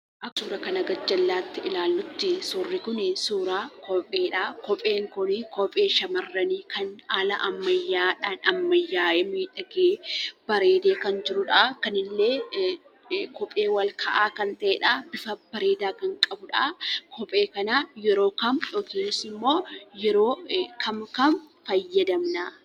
Akka suuraa kana gajjallatti ilaallutti, suurri kuni suuraa kopheedha. kopheen kun kophee shamarranii kan haala ammayyadhaan ammayya'ee, miidhagee, bareede kan jirudha. kunille kophee ol ka'aa kan ta'edha. bifa bareeda kan qabudha. kophee kana yeroo kam yookanimmo yeroo kam, kam fayyadamna?